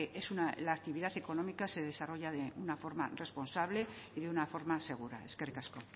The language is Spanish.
la actividad económica se desarrolla de una forma responsable y de una forma segura eskerrik asko